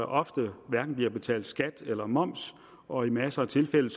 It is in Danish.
ofte hverken betalt skat eller moms og i masser af tilfælde